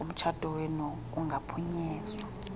komtshato wenu kungaphunyezwa